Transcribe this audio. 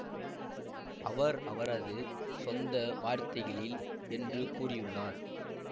அவர் அவரது சொந்த வார்த்தைகளில் என்று கூறியுள்ளார்